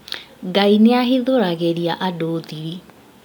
Ngai nĩahithũragĩria andũ thiri